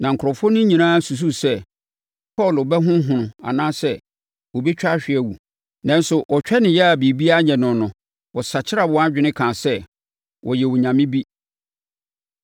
Na nkurɔfoɔ no nyinaa susuu sɛ Paulo bɛhonhono anaasɛ ɔbɛtwa ahwe awu. Nanso, wɔtwɛnee ara a biribiara anyɛ no no, wɔsakyeraa wɔn adwene kaa sɛ, “Ɔyɛ onyame bi.”